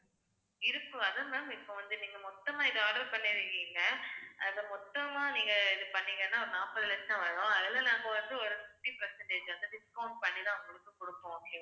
இருக்கு அதான் ma'am இப்ப வந்து நீங்க மொத்தமா இதை order பண்ணிருக்கீங்க அதை மொத்தமா நீங்க இது பண்ணீங்கன்னா ஒரு நாப்பது லட்சம் வரும். அதுல நாங்க வந்து, ஒரு fifty percentage வந்து discount பண்ணிதான் உங்களுக்கு கொடுப்போம் okay வா